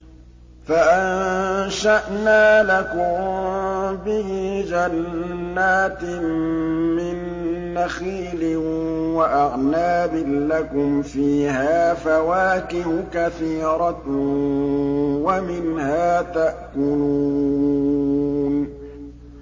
فَأَنشَأْنَا لَكُم بِهِ جَنَّاتٍ مِّن نَّخِيلٍ وَأَعْنَابٍ لَّكُمْ فِيهَا فَوَاكِهُ كَثِيرَةٌ وَمِنْهَا تَأْكُلُونَ